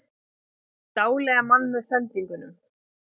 Dáleiða mann með sendingunum